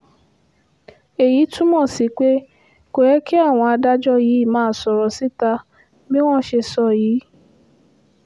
èyí túmọ̀ sí pé kò yẹ kí àwọn adájọ́ yìí máa sọ̀rọ̀ síta bí wọ́n ṣe sọ yìí